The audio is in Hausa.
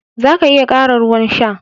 Za ka iya ƙara ruwan sha.